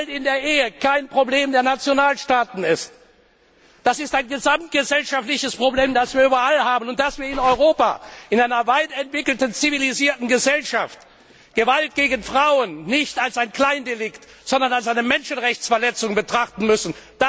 B. die Gewalt in der Ehe kein Problem der Nationalstaaten ist, sondern ein gesamtgesellschaftliches Problem, das wir überall haben, und dass wir in Europa in einer weit entwickelten zivilisierten Gesellschaft Gewalt gegen Frauen nicht als ein Kleindelikt, sondern als eine Menschenrechtsverletzung betrachten müssen.